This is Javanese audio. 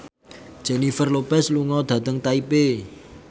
Jennifer Lopez lunga dhateng Taipei